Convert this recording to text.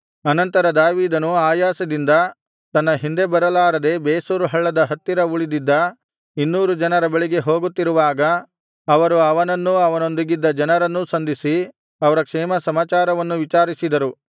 ಅನಂತರ ದಾವೀದನು ಆಯಾಸದಿಂದ ತನ್ನ ಹಿಂದೆ ಬರಲಾರದೆ ಬೆಸೋರ್ ಹಳ್ಳದ ಹತ್ತಿರ ಉಳಿದಿದ್ದ ಇನ್ನೂರು ಜನರ ಬಳಿಗೆ ಹೋಗುತ್ತಿರುವಾಗ ಅವರು ಅವನನ್ನೂ ಅವನೊಂದಿಗಿದ್ದ ಜನರನ್ನೂ ಸಂಧಿಸಿ ಅವರ ಕ್ಷೇಮಸಮಾಚಾರವನ್ನು ವಿಚಾರಿಸಿದರು